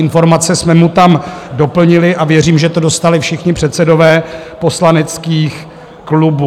Informace jsme mu tam doplnili a věřím, že to dostali všichni předsedové poslaneckých klubů.